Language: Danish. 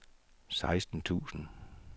seksten tusind